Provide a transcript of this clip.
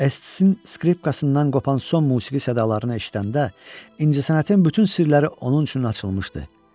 SK-in skripkasından qopan son musiqi sədalarını eşidəndə incəsənətin bütün sirləri onun üçün açılmışdı.